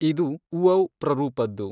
ಇದು ಉಔ ಪ್ರರೂಪದ್ದು.